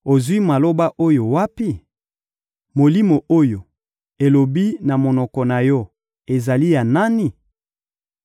Ozwi maloba oyo wapi? Molimo oyo elobi na monoko na yo ezali ya nani?